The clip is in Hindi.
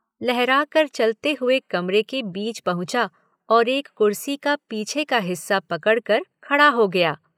लहराकर चलते हुए कमरे के बीच पहुंचा और एक कुर्सी का पीछे का हिस्सा पकड़कर खड़ा हो गया।